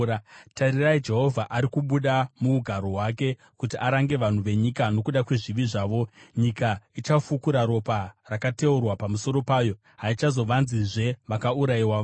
Tarirai, Jehovha ari kubuda muugaro hwake, kuti arange vanhu venyika nokuda kwezvivi zvavo. Nyika ichafukura ropa rakateurwa pamusoro payo; haichazovanzizve vakaurayiwa vayo.